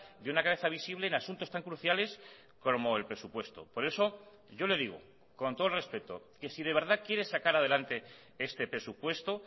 de una cabeza visible en asuntos tan cruciales como el presupuesto por eso yo le digo con todo el respeto que si de verdad quiere sacar adelante este presupuesto